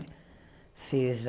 Fez a